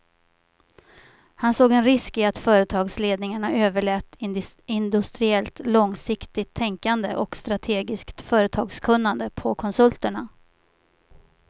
Han såg en risk i att företagsledningarna överlät industriellt långsiktigt tänkande och strategiskt företagskunnande på konsulterna.